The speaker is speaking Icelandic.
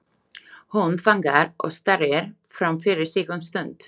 Hún þagnar og starir fram fyrir sig um stund.